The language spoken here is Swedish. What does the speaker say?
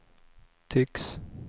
tycks